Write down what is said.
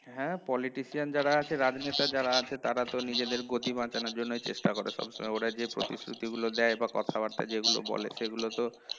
হ্যাঁ politician যারা আছে রাজনেতা যারা আছে তারা তো নিজেদের গদি বাঁচানোর জন্যই চেষ্টা করে সবসময় ওরা যে প্রতিশ্রুতি গুলো দেয় বা কথাবার্তা যেগুলো বলে সেগুলো তো